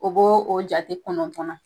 O bo o jate kɔnɔntɔn na.